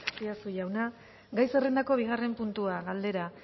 azpiazu jauna gai zerrendako bigarren puntua galdera